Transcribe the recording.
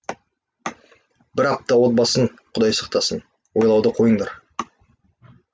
бір апта отбасын құдай сақтасын ойлауды қойыңдар